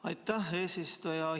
Aitäh, eesistuja!